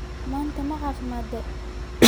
Manta macafimadtey.